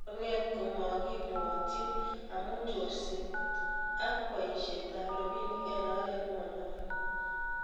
Akonget komokibwotyin amu chorset ak boisetab robinik eng oret ne monyolu